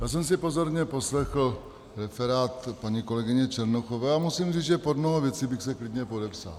Já jsem si pozorně poslechl referát paní kolegyně Černochové a musím říct, že pod mnoho věcí bych se klidně podepsal.